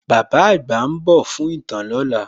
Bàbá àgbà ń dò fún ītàn ní òla